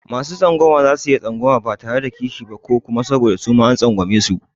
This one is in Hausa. Masu tsangwama za su iya tsangwama ba tare da kishi ba ko kuma saboda suma an tsangwamesu.